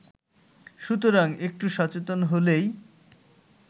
সুতরাং একটু সচেতন হলেই